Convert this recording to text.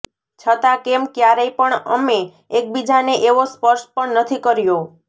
છતાં કેમ ક્યારેય પણ અમે એકબીજાને એવો સ્પર્શ પણ નથી કર્યો